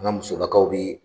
N ka musolakaw bɛ ye